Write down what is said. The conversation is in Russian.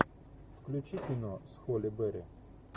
включи кино с холли берри